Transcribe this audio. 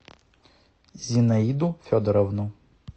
зинаиду федоровну